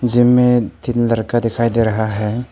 Gym में तीन लड़का दिखाई दे रहा है।